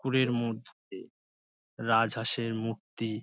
পুকুরের মধ্যে রাজহাঁসের মূর্তি।